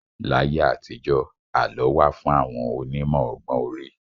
Láyé àtijọ́, àlọ́ wà fún àwọn onímọ̀ ọgbọ́n orí.